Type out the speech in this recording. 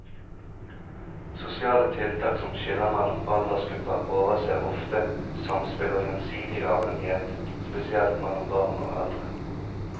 Sosiale tiltak som skiller mellom aldersgrupper overser ofte samspill og gjensidig avhengighet, spesielt mellom barn og eldre.